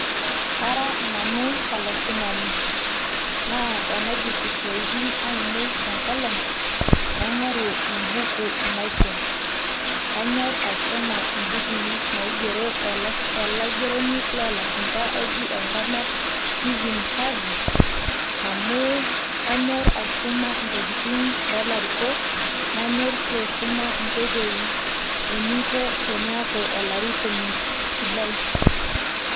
kara nanu olaisumani naa tenaidip isiaitin ainei tenkolong naing'oru embuku naisum kanyorr aisuma imbukui naigero olaigeroni loolashumpa oji Steven harvey amu kanyorr aisuma ntokitin oolarikok nanyor sii aisuma inkoitoi eninko teniaku olarikoni sidai.